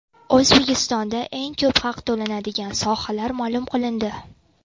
O‘zbekistonda eng ko‘p haq to‘lanadigan sohalar ma’lum qilindi.